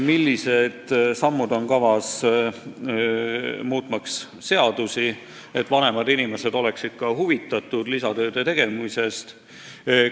Millised sammud on kavas, muutmaks seadusi, et vanemad inimesed oleksid rohkem huvitatud lisatööde tegemisest?